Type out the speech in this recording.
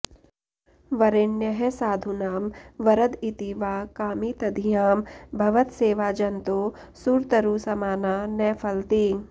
वरेण्यः साधूनां वरद इति वा कामितधियां भवत्सेवा जन्तोः सुरतरुसमाना न फलति